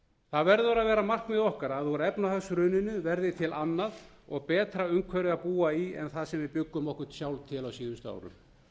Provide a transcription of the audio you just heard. það verður að vera markmið okkar að úr efnahagshruninu verði til annað og betra umhverfi að búa í en það sem við bjuggum okkur sjálf til á síðustu árum